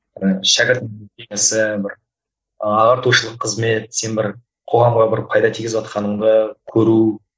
ы шәкірт бір ағартушылық қызмет сен бір қоғамға бір пайда тигізіватқаныңды көру